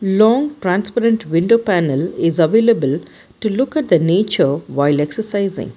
long transparent window panel is available to look at the nature while exercising.